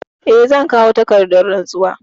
Eh, zan kawo takardar rantsuwa.